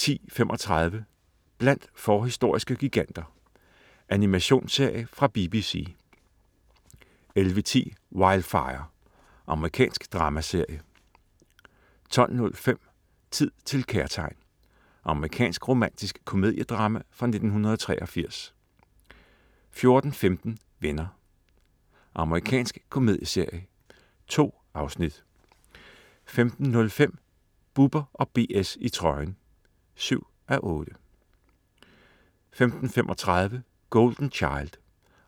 10.35 Blandt forhistoriske giganter. Animationsserie fra BBC 11.10 Wildfire. Amerikansk dramaserie 12.05 Tid til kærtegn. Amerikansk romantisk komediedrama fra 1983 14.15 Venner. Amerikansk komedieserie. 2 afsnit 15.05 Bubber & BS i trøjen 7:8* 15.35 Golden Child.